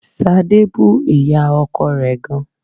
Sadé bú ìyá ọkọ rẹ gan